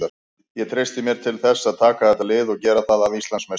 Ég treysti mér til þess að taka þetta lið og gera það að Íslandsmeisturum.